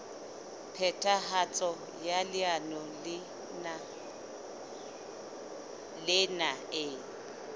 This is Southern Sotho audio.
phethahatso ya leano lena e